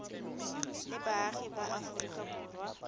le baagi ba aforika borwa